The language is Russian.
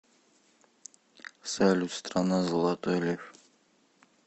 салют страна золотой лев